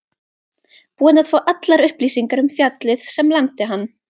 Búinn að fá allar upplýsingar um fjallið sem lamdi hann.